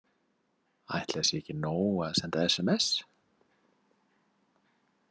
Ætli það sé ekki nóg að senda sms?